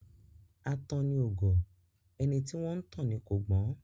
Atanni ò gọ̀; ẹni tí wọ́n ńtàn ni kò gbọ́n.